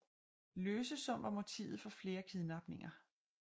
Løsesum var motivet for flere kidnapninger